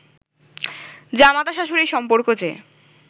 জামাতা-শাশুড়ীর সম্পর্ক যে